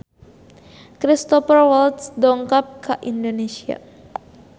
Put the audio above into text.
Cristhoper Waltz dongkap ka Indonesia